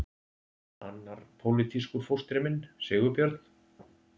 Annar pólitískur fóstri minn, Sigurbjörn